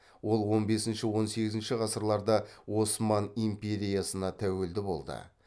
ол он бесінші он сегізінші ғасырларда осман империясына тәуелді болды